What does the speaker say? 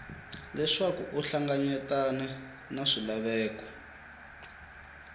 leswaku u hlanganyetane na swilaveko